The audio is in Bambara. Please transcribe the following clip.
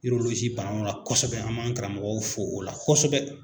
bana la kosɛbɛ, an man karamɔgɔ fɔ o la kosɛbɛ!